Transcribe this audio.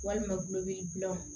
Walima gulɔ bɛ gulɔ